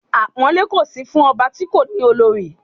Àpọ́nlé kò sí fún ọba ti kò ni olori